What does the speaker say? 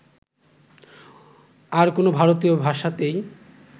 আর কোন ভারতীয় ভাষাতেই